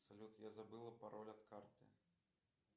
салют я забыла пароль от карты